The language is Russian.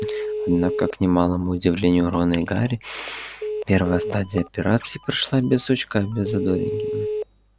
однако к немалому удивлению рона и гарри первая стадия операции прошла без сучка без задоринки